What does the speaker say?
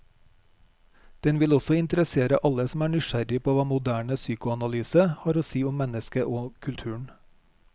Den vil også interessere alle som er nysgjerrig på hva moderne psykoanalyse har å si om mennesket og kulturen.